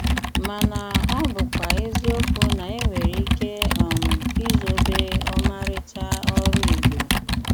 Màná ọ́ bụ́kwà ézíòkwù ná énwéré íké um ízòbé ómárị́chá órù Ìgbò.